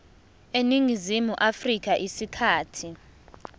eningizimu afrika isikhathi